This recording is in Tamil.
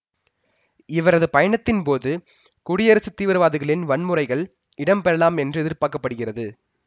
இவரது பயணத்தின் போது குடியரசு தீவிரவாதிகளின் வன்முறைகள் இடம்பெறலாம் என்று எதிர்பார்க்க படுகிறது